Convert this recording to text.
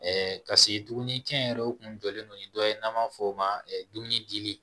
Ɛɛ ka se dumuni kɛ yɛrɛ o kun jɔlen don ni dɔ ye n'an b'a fɔ o ma dumuni dili